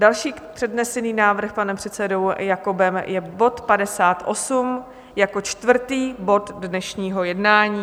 Další přednesený návrh panem předsedou Jakobem je bod 58 jako čtvrtý bod dnešního jednání.